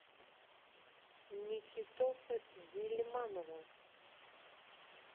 никитоса гильманова